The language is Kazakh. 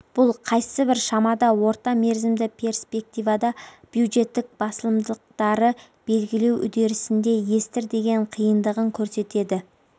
бұл қайсыбір шамада орта мерзімді перспективада бюджеттік басылымдықтары белгілеу үдерісінде естір деген қиындығын көрсетеді